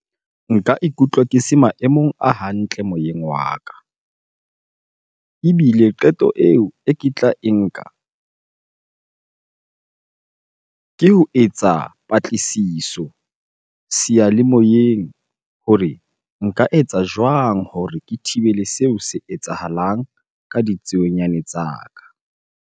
Nka ikutlwa ke se maemong a hantle moyeng wa ka. Ebile qeto eo e ke tla e nka, ke o etsa eng patlisiso seyalemoyeng hore nka etsa jwang hore ke thibele seo se etsahalang ka ditsuonyane tsa ka.